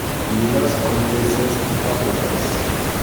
Kilos Conte Cesc Fabigas